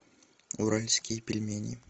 уральские пельмени